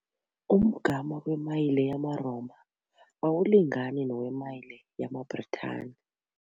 Umgama wemayile yamaRoma awulingani nowemayile yamaBritani.